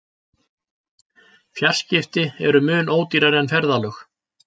Fjarskipti eru mun ódýrari en ferðalög.